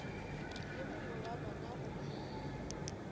le mongwe wa bona o